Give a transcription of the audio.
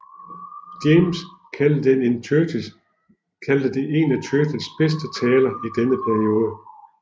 James kaldte den en af Churchills bedste taler i denne periode